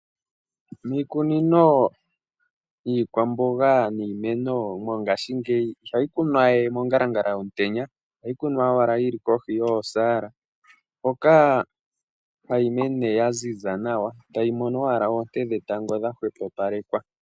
Miikunino yiikwamboga niimeno mongaashingeyi, ihayi kunwa we mongalangala yomutenya ohayi kunwa owala yili kohi yoosaala, hoka hayi mene ya ziza nawa, tayi mono owala oonte dhetango dha hwepopalekwa.